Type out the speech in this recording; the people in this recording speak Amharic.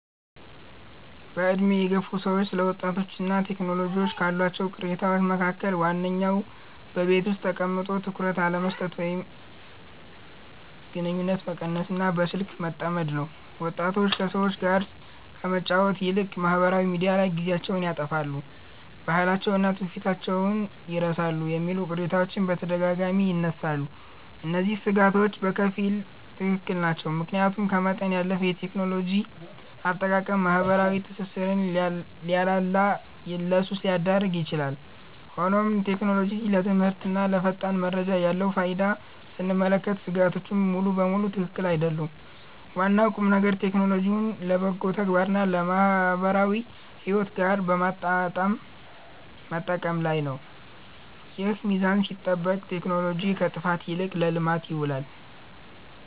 በዕድሜ የገፉ ሰዎች ስለ ወጣቶችና ቴክኖሎጂ ካሏቸው ቅሬታዎች መካከል ዋነኛው በቤት ውስጥ ተቀምጦ ትኩረት አለመስጠት ወይም ግንኙነት መቀነስና በስልክ መጠመድ ነው። ወጣቶች ከሰዎች ጋር ከመጫወት ይልቅ ማኅበራዊ ሚዲያ ላይ ጊዜያቸውን ያጠፋሉ፣ ባህላቸውንና ትውፊታቸውን ይረሳሉ የሚሉ ቅሬታዎች በተደጋጋሚ ይነሳሉ። እነዚህ ሥጋቶች በከፊል ትክክል ናቸው፤ ምክንያቱም ከመጠን ያለፈ የቴክኖሎጂ አጠቃቀም ማኅበራዊ ትስስርን ሊያላላና ለሱስ ሊዳርግ ይችላል። ሆኖም ቴክኖሎጂ ለትምህርትና ለፈጣን መረጃ ያለውን ፋይዳ ስንመለከት ሥጋቶቹ ሙሉ በሙሉ ትክክል አይደሉም። ዋናው ቁምነገር ቴክኖሎጂውን ለበጎ ተግባርና ከማኅበራዊ ሕይወት ጋር በማመጣጠር መጠቀም ላይ ነው። ይህ ሚዛን ሲጠበቅ ቴክኖሎጂ ከጥፋት ይልቅ ለልማት ይውላል።